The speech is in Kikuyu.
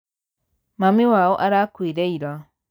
Mami wao arakuire ira.